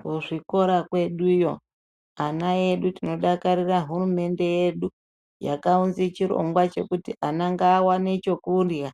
Kuzvikora kvedu uyo, ana edu tinodakarira hurumende yedu yakaunzechirongwa chekuti ana ngaawane chekudya